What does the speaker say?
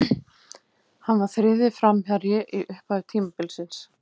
Hann var þriðji framherji í upphafi tímabilsins.